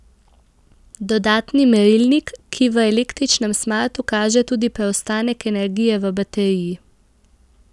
Dodatni merilnik, ki v električnem smartu kaže tudi preostanek energije v bateriji.